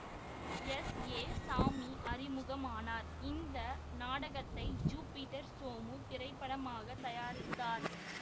S A Sami அறிமுகமானார் இந்த நாடகத்தை ஜீபிடர் சோமு திரைப்படமாக தயாரித்தார்